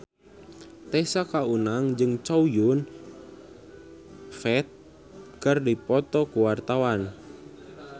Tessa Kaunang jeung Chow Yun Fat keur dipoto ku wartawan